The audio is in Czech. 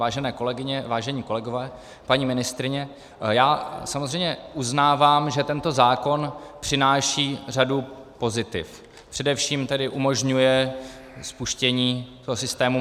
Vážené kolegyně, vážení kolegové, paní ministryně, já samozřejmě uznávám, že tento zákon přináší řadu pozitiv, především tedy umožňuje spuštění toho systému